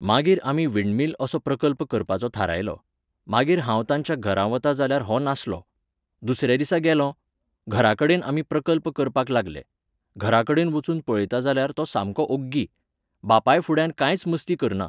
मागीर आमी विंडमील असो प्रकल्प करपाचो थारायलो. मागीर हांव तांच्या घरा वतां जाल्यार हो नासलो. दुसऱ्या दिसा गेलों. घराकडेन आमी प्रकल्प करपाक लागले. घरा कडेन वचून पळयता जाल्यार तो सामको ओग्गी. बापाय फुड्यान कांयच मस्ती करना.